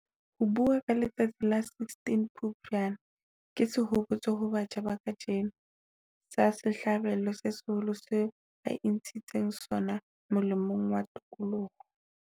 Ho bua ka letsatsi la la 16 Phupjane ke sehopotso ho batjha ba kajeno, sa sehlabelo se seholo seo ba intshitseng sona molemong wa tokoloho.